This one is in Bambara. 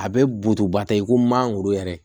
A bɛ butubata i ko mangoro yɛrɛ